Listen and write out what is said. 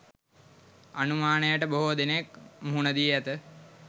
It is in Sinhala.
අනුමානයට බොහේ දෙනෙක් මුහුණ දී ඇත